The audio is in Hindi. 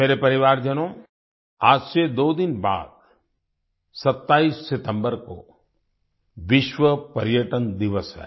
मेरे परिवारजनों आज से दो दिन बाद 27 सितम्बर को विश्व पर्यटन दिवस है